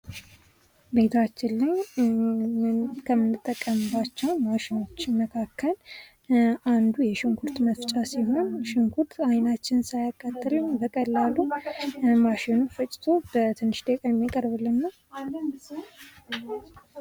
ቤታችን ላይ ከምንጠቀምባቸው ማሽኖች መካከል አንዱ የሽንኩርት መፍጫ ሲሆን አይናችንን ሳያቃትለን በቀላሉ በማሽን ፈጭቶ የሚያቀርብልን ነው።